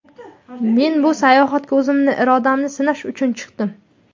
Men bu sayohatga o‘zimni irodamni sinash uchun chiqdim.